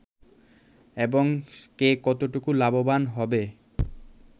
এবং কে কতটুকু লাভবান হবে